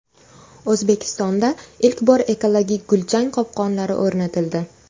O‘zbekistonda ilk bor ekologik gulchang qopqonlari o‘rnatildi.